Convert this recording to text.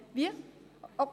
Wie bitte?